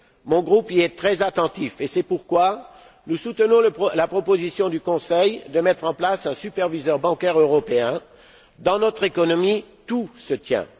Mon groupe en a conscience et c'est pourquoi nous soutenons la proposition du Conseil de mettre en place un superviseur bancaire européen. Dans notre économie, tout se tient.